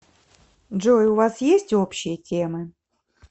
джой у вас есть общие темы